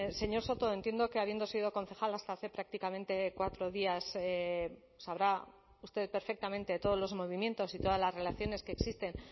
señor soto entiendo que habiendo sido concejal hasta hace prácticamente cuatro días sabrá usted perfectamente todos los movimientos y todas las relaciones que existen